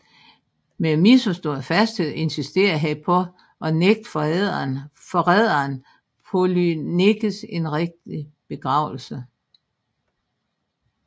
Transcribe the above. Med misforstået fasthed insisterede han på at nægte forræderen Polyneikes en rigtig begravelse